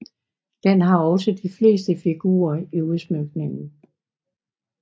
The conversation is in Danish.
Den har også de fleste figurer i udsmykningen